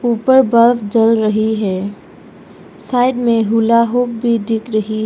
ऊपर बल्ब जल रही है साइड में हूला हो भी दिख रही--